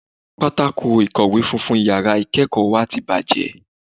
Pátákó ìkọ̀wé funfun yàrá ìkẹ́ẹ̀kọ̀ wa ti bàjẹ́.